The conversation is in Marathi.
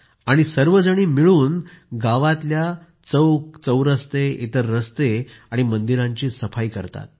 आणि सर्वजणी मिळून गावांतल्या चौकचौरस्ते इतर रस्ते आणि मंदिरांची सफाई करतात